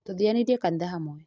Tũthianilie kanitha hamwe